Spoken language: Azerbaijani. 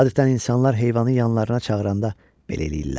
Adətən insanlar heyvanı yanlarına çağıranda belə eləyirlər.